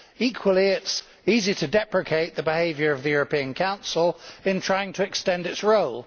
Equally, it is easy to deprecate the behaviour of the European Council in trying to extend its role.